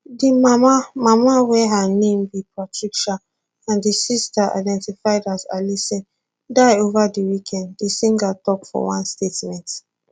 di mama mama wey her name be patricia and di sister identified as alison die ova di weekend di singer tok for one statement